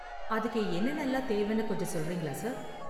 அதுக்கு என்னென்னலாம் தேவைனு கொஞ்சம் சொல்றீங்களா, சார்?